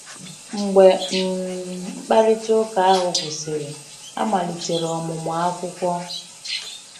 Mgbe um mkparịta ụka ahụ gwụsịrị, a malitere ọmụmụ akwụkwọ.